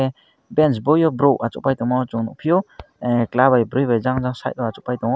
banch boi o borok achuk pai tomo chung nugfio chwla bi bri by jang jang side o achuk lai tongo.